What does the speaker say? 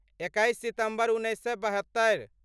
एकैस सितम्बर उन्नैस बहत्तरि